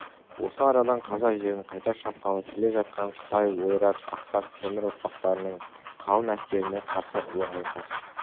осы арадан қазақ жерін қайта шапқалы келе жатқан қытай ойрат ақсақ темір ұрпақтарының қалың әскеріне қарсы ұлы айқас